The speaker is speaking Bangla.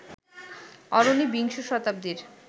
অরণি বিংশ শতাব্দীর